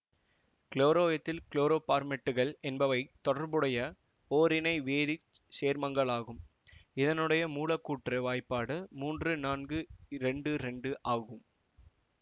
chloroethyl குளோரோபார்மேட்டுகள் என்பவை தொடர்புடைய ஒரிணை வேதி சேர்மங்களாகும் இதனுடைய மூலக்கூற்று வாய்ப்பாடு மூன்று நான்கு இரண்டு இரண்டு ஆகும்